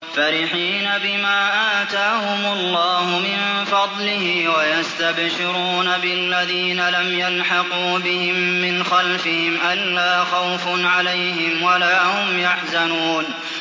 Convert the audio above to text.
فَرِحِينَ بِمَا آتَاهُمُ اللَّهُ مِن فَضْلِهِ وَيَسْتَبْشِرُونَ بِالَّذِينَ لَمْ يَلْحَقُوا بِهِم مِّنْ خَلْفِهِمْ أَلَّا خَوْفٌ عَلَيْهِمْ وَلَا هُمْ يَحْزَنُونَ